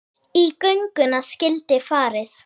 Í gönguna skyldi farið.